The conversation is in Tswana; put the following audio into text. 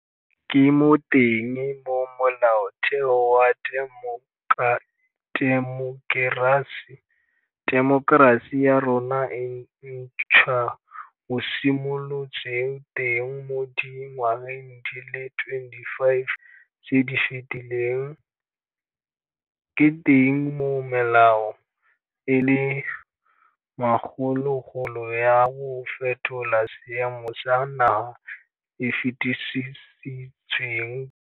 Ke mo teng mo Molaotheo wa temokerasi ya rona e ntšhwa o simolotseng teng mo di ngwageng di le 25 tse di fetileng, ke teng moo melao e le makgolokgolo ya go fetola seemo sa naga e fetisitsweng teng.